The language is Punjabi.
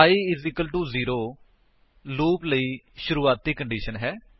i 0 ਲੂਪ ਲਈ ਸ਼ੁਰੁਆਤੀ ਕੰਡੀਸ਼ਨ ਹੈ